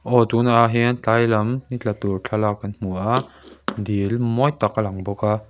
aw tun ah hian tlai lam ni tla tur thlalak kan hmu a dil mawi tak a lang bawk a.